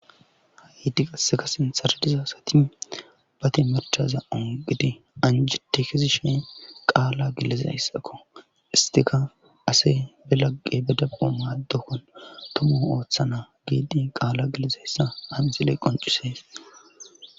Hahiddi qaseka sinsaradiza sati bate marchaza ongidi anji tekizi she qaala gileze hayssakko istika ase be lagqe bedapo maaddokkon tomu ooththa na giidi qaala gilezeyssa abizile qoncise.